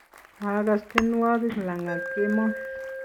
koagas tienwogik langat kemoi.